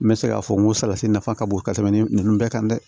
N bɛ se k'a fɔ n ko salati nafa ka bon ka tɛmɛ ni ninnu bɛɛ kan dɛ